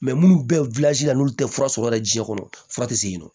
minnu bɛ la n'u tɛ fura sɔrɔ yɛrɛ jiɲɛ kɔnɔ fura tɛ se yen nɔ